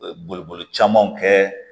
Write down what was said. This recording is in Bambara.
Boliboli camanw kɛ